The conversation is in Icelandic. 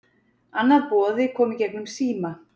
Annað boði kom í gegnum síma